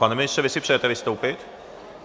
Pane ministře, vy si přejete vystoupit?